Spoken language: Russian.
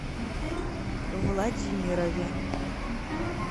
владимирове